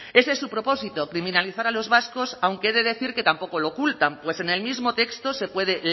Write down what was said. ese es su propósito criminalizar a los vascos aunque he de decir que tampoco lo ocultan pues en el mismo texto se puede